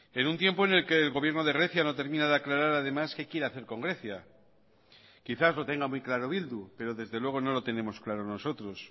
en un tiempo en el que el gobierno de grecia no termina de aclarar además qué quiere hacer con grecia quizás lo tenga muy claro bildu pero desde luego no lo tenemos claro nosotros